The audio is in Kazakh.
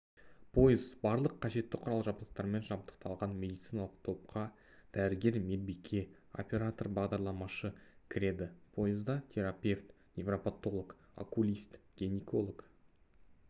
пойыз барлық қажетті құрал-жабдықтармен жабдықталған медициналық топқа дәрігер медбике оператор-бағдарламашы кіреді пойызда терапевт неврапотолог окулист гинеколог